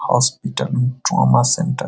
hospital trauma centre --